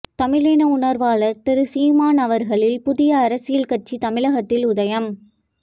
தமிழின உணர்வாளர் திரு சீமான் அவர்களில் புதிய அரசியல் கட்சி தமிழகத்தில் உதயம்